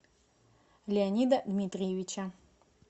леонида дмитриевича